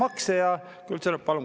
Palun kolm minutit.